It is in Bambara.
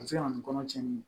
A bɛ se ka na ni kɔnɔ cɛnni ye